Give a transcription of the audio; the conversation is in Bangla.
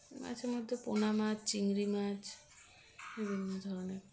মাছের মধ্যে পোনা মাছ চিংড়ি মাছ বিভিন্ন ধরনের